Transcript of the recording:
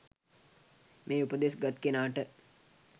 මේ උපදෙස් ගත් කෙනාට